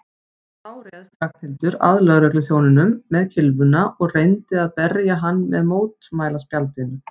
Þá réðst Ragnhildur að lögregluþjóninum með kylfuna og reyndi að berja hann með mótmælaspjaldinu.